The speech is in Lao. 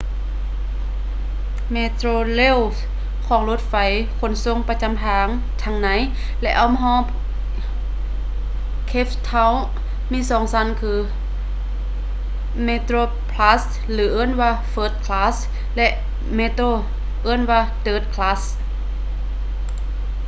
metrorail ຂອງລົດໄຟຂົນສົ່ງປະຈຳທາງທັງໃນ ແລະ ອ້ອມຮອບ cape town ມີສອງຊັ້ນຄື: metroplus ຫຼື ທີ່ເອີ້ນວ່າ first class ແລະ metro ເອີ້ນວ່າ third class